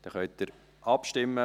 Dann können Sie abstimmen.